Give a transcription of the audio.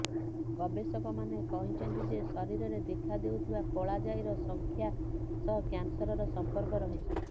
ଗବେଷକମାନେ କହିଛନ୍ତି ଯେ ଶରୀରରେ ଦେଖାଦେଉଥିବା କଳାଜାଇର ସଂଖ୍ୟା ସହ କ୍ୟାନସରର ସମ୍ପର୍କ ରହିଛି